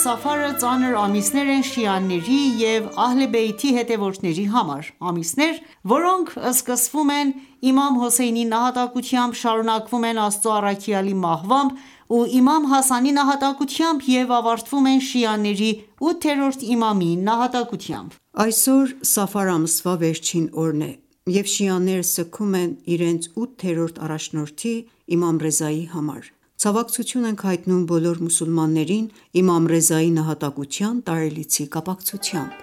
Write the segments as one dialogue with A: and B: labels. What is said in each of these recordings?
A: Սաֆարը ծանր ամիսներ են շիաների և Ահլե-Բեյթի հետևորդների համար: Ամիսներ, որոնք սկսվում են իմամ Հոսեյնի նահատակությամբ, շարունակվում են Աստծո առաքյալի մահվամբ ու Իմամ Հասանի նահատակությամբ և ավարտվում են շիաների ութերորդ իմամի նահատակությամբ:
B: Այսօր Սաֆար ամսվա վերջին օրն է, և շիաները սգում են իրենց ութերորդ առաջնորդի՝ Իմամ Ռեզայի համար:Ցավակցություն ենք հայտնում բոլոր մուսուլմաններին Իմամ Ռեզայի նահատակության տարելիցի
A: կապակցությամբ։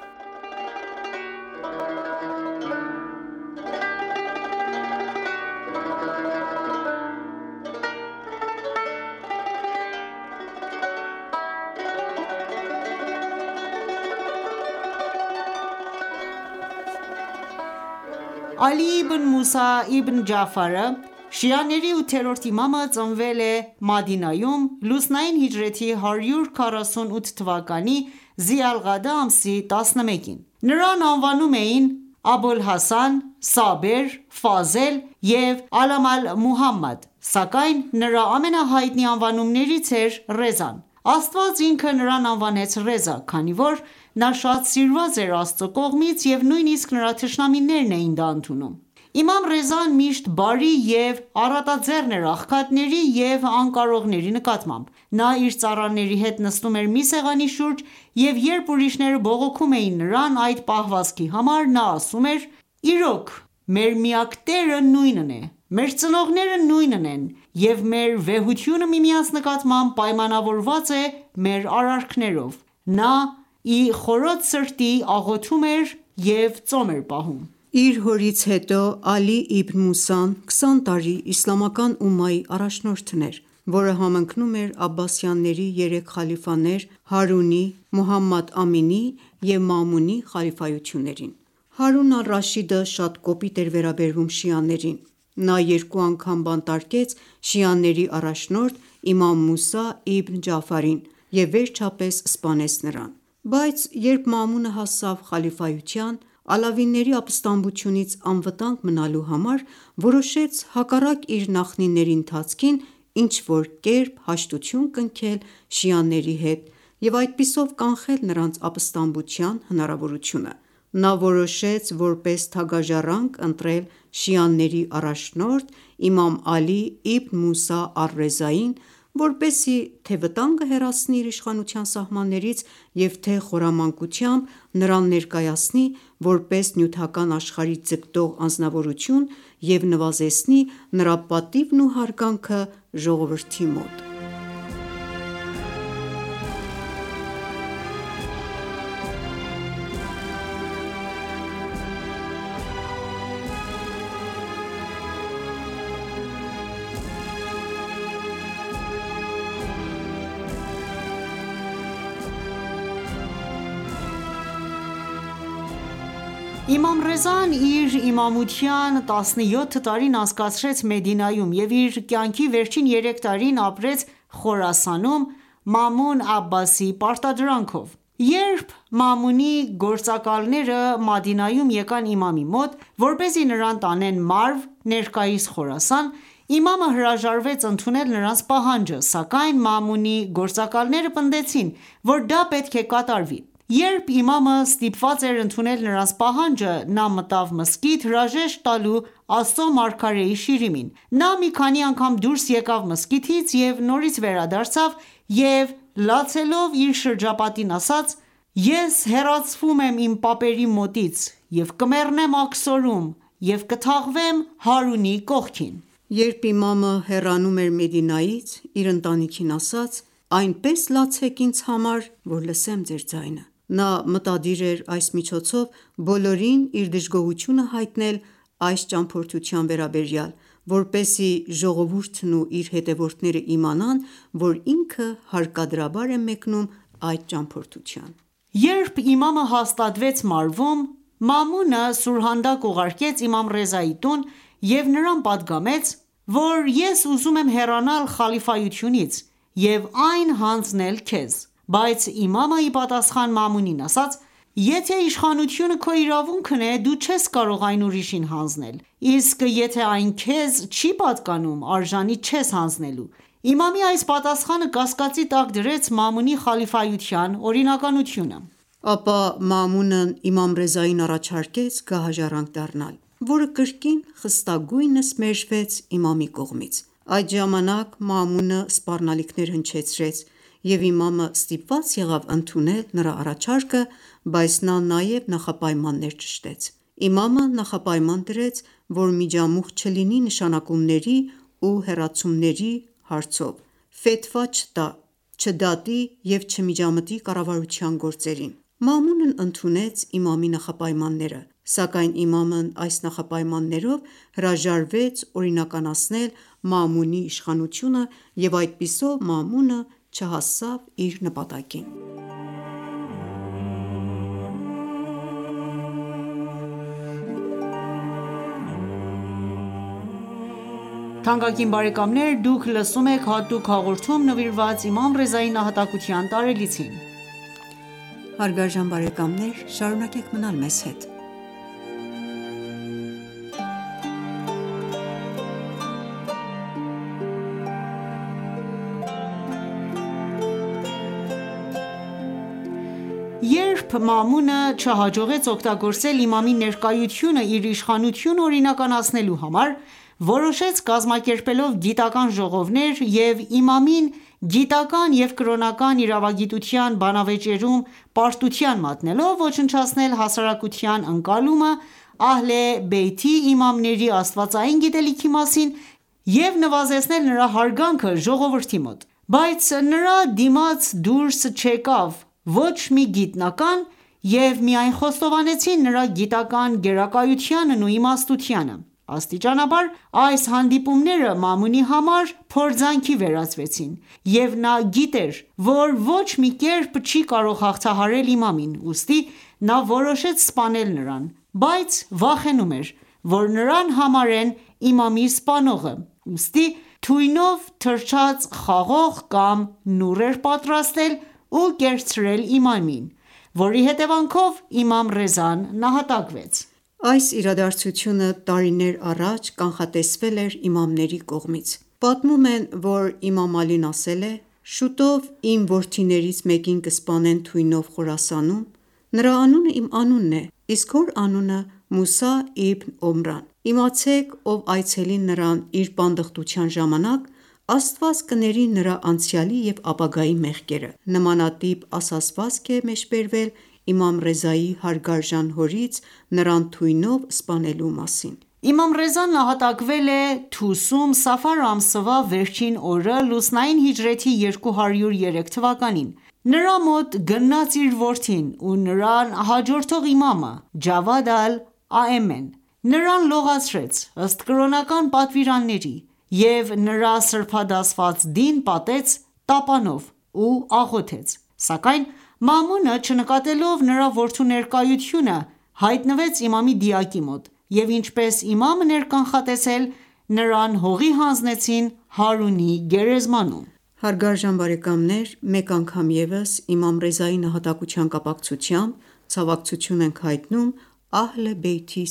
A: Ալի իբն Մուսա իբն Ջաաֆարը, շիաների ութերորդ իմամը, ծնվել է Մադինայում լուսնային հիջրեթի 148 թվականի Զի ալ Ղաադա ամսի 11-ին:Նրան անվանում էին՝Աբոլ Հասան, Սաբեր, Ֆազել և Ալամ Ալ- Մուհամմադ, սակայն նրա ամենահայտնի անվանումներից էր՝ «Ռեզա»-ն։Աստված ինքը նրան անվանեց «Ռեզա», քանի որ նա շատ սիրված էր Աստծո կողմից և նույնիսկ նրա թշնամիներն էին դա ընդունում:Իմամ Ռեզան միշտ բարի և առատաձեռն էր աղքատների և անկարողների նկատմամբ:Նա իր ծառաների հետ նստում էր մի սեղանի շուրջ, և երբ ուրիշները բողոքում էին նրան այդ պահվածքի համար, նա ասում էր.«Իրոք, մեր միակ Տերը նույնն է, մեր ծնողները նույնն են, և մեր վեհությունը միմյանց նկատմամբ պայմանավորված է՝ մեր արարքներով»: Նա ի խորոց սրտի աղոթում էր և ծոմ էր պահում:
B: Իր հորից հետո Ալի Իբն Մուսան, քսան տարի իսլամական ումմայի առաջնորդն էր, որը համընկնում էր Աբբասյանների երեք խալիֆաներ՝Հարունի, Մուհամադ Ամինի և Մաամունի խալիֆայություններին:Հարուն ալ-Ռաշիդը շատ կոպիտ էր վերաբերվում շիաներին, նա երկու անգամ բանտարկեց շիաների առաջնորդ՝ իմամ Մուսա իբն Ջաաֆարին և վերջապես սպանեց նրան:Բայց երբ Մաամունը հասավ խալիֆայության, Ալավիների ապստամբությունից անվտանգ մնալու համար, որոշեց, հակառակ իր նախնիների ընթացքին, ինչ-որ կերպ հաշտություն կնքել շիաների հետ և այդպիսով կանխել նրանց ապստամբության հնարավորությունը:Նա որոշեց որպես թագաժառանգ ընտրել շիաների առաջնորդ՝ իմամ Ալի իբն Մուսա ալ-Ռեզային ,որպեսզի թե վտանգը հեռացնի իր իշխանության սահմաններից և թե՝ խորամանկությամբ նրան ներկայացնի որպես նյութական աշխարհի ձգտող անձնավորություն և նվազեցնի նրա պատիվն ու հարգանքը ժողովրդի մոտ:
A: Իմամ Ռեզան իր իմամության տասնյոթ տարին անցկացրեց Մեդինայում և իր կյանքի վերջին երեք տարին ապրեց Խորասանում՝ Մաամուն Աբասիի պարտադրանքով:Երբ Մաամունի գործակալները Մադինայում եկան Իմամի մոտ, որպեսզի նրան տանեն Մարվ (ներկայիս Խորասան), Իմամը հրաժարվեց ընդունել նրանց պահանջը, սակայն Մաամունի գործակալները պնդեցին, որ դա պետք է կատարվի:Երբ Իմամը ստիպված էր ընդունել նրանց պահանջը, նա մտավ մզկիթ՝ հրաժեշտ տալու Աստծո մարգարեի շիրիմին, նա մի քանի անգամ դուրս եկավ մզկիթից և նորից վերադարձավ՝ և լացելով իր շրջապատին ասաց.«Ես հեռացվում եմ իմ պապերի մոտից և կմեռնեմ աքսորում և կթաղվեմ Հարունի կողքին»։ Երբ Իմամը
B: հեռանում էր Մեդինայից, իր ընտանիքին ասաց, այնպես լացեք ինձ համար ,որ լսեմ ձեր ձայնը»:Նա մտադիր էր այս միջոցով բոլորին իր դժգոհությունը հայտնել այս ճամփորդության վերաբերյալ, որպեսզի ժողովուրդն ու իր հետևորդները իմանան, որ ինքը հարկադրաբար է մեկնում այդ
A: ճամփորդության։ Երբ Իմամը հաստատվեց Մարվում, Մաամունը սուրհանդակ ուղարկեց Իմամ Ռեզայի տուն և նրան պատգամեց, որ՝ ես ուզում եմ հեռանալ խալիֆայությունից և այն հանձնել քեզ:Բայց Իմամը իպատասխան Մաամունին ասաց.«Եթե իշխանությունը քո իրավունքն է, դու չես կարող այն ուրիշին հանձնել, իսկ եթե այն քեզ չի պատկանում, արժանի չես հանձնելու»։Իմամի այս պատասխանը կասկածի տակ դրեց Մաամունի խալիֆայության օրինականությունը:
B: Ապա Մաամունը իմամ Ռեզային առաջարկեց գահաժառանգ դառնալ, որը կրկին խստագույնս մեժվեց իմամի կողմից:Այդ ժամանակ Մաամունը սպառնալիքներ հնչեցրեց, և Իմամը ստիպված եղավ ընդունել նրա առաջարկը, բայց նա նաև նախապայմաններ ճշտեց:Իմամը նախապայման դրեց, որ միջամուխ չլինի նշանակումների ու հեռացումների հարցով, ֆեթվա(կրոնական հրահանգներ) չտա, չդատի և չմիջամտի կառավարության գործերին։ Մաամունն ընդունեց Իմամի նախապայմանները, սակայն Իմամը այս նախապայմաններով հրաժարվեց օրինականացնել Մաամունի իշխանությունը, և այդպիսով Մաամունը չհասավ իր
A: նպատակին: Երբ Մաամունը չհաջողեց օգտագործել Իմամի ներկայությունը իր իշխանությունը օրինականացնելու համար, որոշեց կազմակերպելով գիտական ​​ժողովներ և իմամին գիտական ​​և կրոնական իրավագիտության բանավեճերում պարտության մատնելով, ոչնչացնել հասարակության ընկալումը Ահլե Բեյթի իմամների աստվածային գիտելիքի մասին և նվազեցնել նրա հարգանքը ժողովրդի մոտ:Բայց նրա դիմաց դուրս չեկավ ոչ մի գիտնական և միայն խոստովանեցին նրա գիտական գերակայությունն ու իմաստությունը: Աստիճանաբար այս հանդիպումները Մաամունի համար փորձանքի վերածվեցին, և նա գիտեր, որ ոչ մի կերպ չի կարող հաղթահարել Իմամին ,ուստի նա որոշեց սպանել նրան, բայց վախենում էր, որ նրան համարեն իմամի սպանողը, ուստի թույնով թրջած խաղող կամ նուռ էր պատրաստել ու կերցրել իմամին, որի հետևանքով Իմամ Ռեզան նահատակվեց: Այս իրադարձությունը տարիներ առաջ կանխատեսվել էր իմամների կողմից: Պատմում
B: են, որ Իմամ Ալին ասել է «Շուտով իմ որդիներից մեկին կսպանեն թույնով Խորասանում, նրա անունը իմ անունն է, իսկ հոր անունը՝ Մուսա իբն Օմրան:Իմացեք, ով այցելի նրան իր պանդխտության ժամանակ, Աստված կների նրա անցյալի և ապագայի մեղքերը...»:Նմանատիպ ասացվածք է մեջ բերվել Իմամ Ռեզայի հարգարժան հորից ,նրան թույնով
A: սպանելու մասին: Իմամ Ռեզան նահատակվել է Թուսում Սաֆար ամսվա վերջին օրը, լուսնային հիջրեթի 203 թվականին: Նրա մոտ գնաց իր որդին ու նրան հաջորդող իմամը՝ Ջավադ Ալ-Աեմեն ,նրան լողացրեց ըստ կրոնական պատվիրանների,և նրա սրբադասված դին պատեց տապանով ու աղոթեց:Սակայն Մաամունը, չնկատելով նրա որդու ներկայությունը, հայտնվեց Իմամի դիակի մոտ, և ինչպես իմամն էր կանխատեսել, նրան հողին հանձնեցին Հարունի գերեզմանում։ Մեկ անգամ ևս Իմամ Ռեզայի
B: նահատակության կապակցությամբ ցավակցություն ենք հայտնում Ահլե Բեյթի